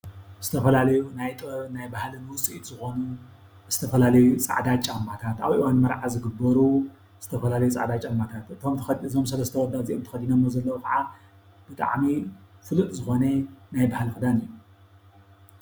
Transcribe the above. ዝተፋላለዩ ናይ ጥበብን ናይ ባህልን ዉፅኢት ዝኾኑ ዝተፋላለዩ ፃዕዳ ጫማታት ኣብ እዋን መርዓ ዝግበሩ ዝተፋላለዩ ፃዕዳ ጫማታት እዞም ሰለሰተ ኣወዳት ተኸዲኖሞ ዘለዉ ከዓ ብጣዕሚ ፍሉጥ ዝኾነ ናይ ባሀሊ ክዳን እዩ፡፡